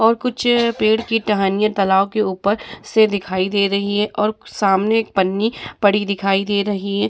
और कुछ पेड़ के टहनी तालाब के ऊपर से दिखाई दे रही हैं और सामने एक पन्नी पड़ी दिखाई दे रही है।